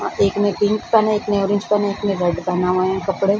एक ने पिंक पहने एक ने ऑरेंज पहने एक ने रेड पहना हुआ है कपड़े |